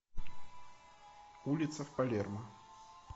улица в палермо